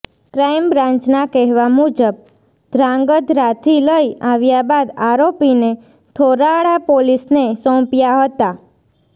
ક્રાઈમબ્રાન્ચના કહેવા મુજબ ધ્રાંગધ્રાથી લઈ આવ્યા બાદ આરોપીને થોરાળા પોલીસને સોંપ્યા હતા